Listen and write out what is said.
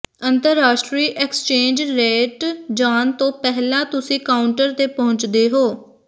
ਅੰਤਰਰਾਸ਼ਟਰੀ exchange rate ਜਾਣ ਤੋਂ ਪਹਿਲਾਂ ਤੁਸੀਂ ਕਾਊਂਟਰ ਤੇ ਪਹੁੰਚਦੇ ਹੋ